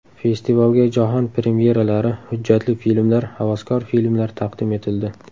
Festivalga jahon premyeralari, hujjatli filmlar, havaskor filmlar taqdim etildi.